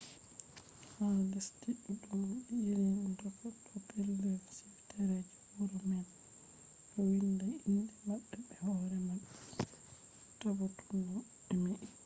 ha lesdi ɗuɗɗum be irin doka ɗo pellel suitare je wuro man ɗo winda inde maɓɓe be hoore maɓɓe tabutunu a emi